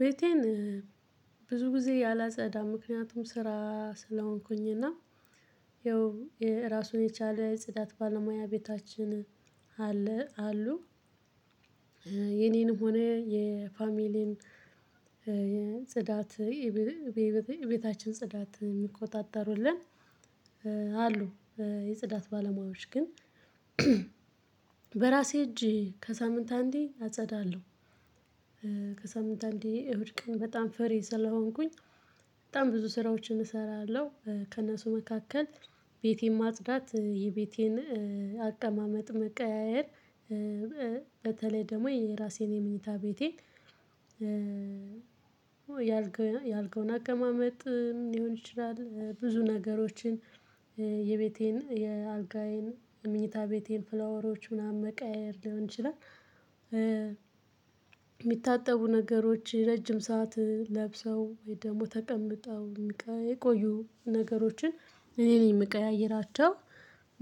ቤቴን ብዙ ጊዜ አላጸዳም ምክንያቱም ስራ ስለሆንኩኝ። እና ያው ራሱን የቻለ ጽዳት ባለሙያ ቤታችን አለ አሉ የኔንም ሆነ የፋሚሊን ጽዳት የቤታችን ጽዳት የሚቆጣጠሩልን አሉ። የጽዳት ባለሙያዎች ግን በራሴ እጅ ከሳምንት አንዴ አጸዳለሁ። ከሳምንት አንዴ እሁድ ቀን በጣም ፍሬ ስለሆንኩኝ በጣም ብዙ ስራዎችን እሰራለሁ። ከእነሱ መካከል ቤቴን ማጽዳት የቤቴን አቀማመጥ መቀያየር። በተለይ ደግሞ የራሴን የምኝታ ቤቴ ያልከውን ያልከውን አቀማመጥ ሊሆን ይችላል ብዙ ነገሮችን የቤቴን የአልጋዬን የምኝታ ቤቴን ፍላወሮች ምናምን መቀየር ሊሆን ይችላል። የሚታጠቡ ነገሮች ረጅም ሰዓት ለብሰው ወይ ደግሞ ተቀምጠው የሚቀይ የቆዩ ነገሮችን እኔ ነኝ የምቀያይራቸው።